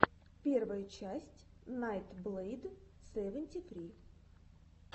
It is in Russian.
первая часть найтблэйд севенти ссри